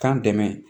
K'an dɛmɛ